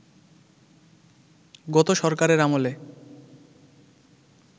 গত সরকারের আমলে